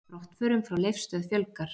Brottförum frá Leifsstöð fjölgar